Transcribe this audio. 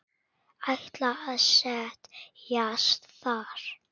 Ætlar að set jast þar.